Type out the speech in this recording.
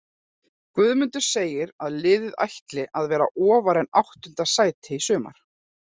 Guðmundur segir að liðið ætli að vera ofar en áttunda sæti í sumar.